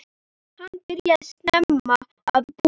Hann byrjaði snemma að búa.